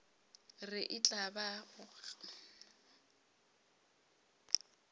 re e tla ba go